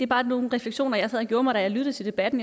bare nogle reflektioner jeg sad og gjorde mig da jeg lyttede til debatten